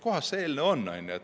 Kuskohas see eelnõu on?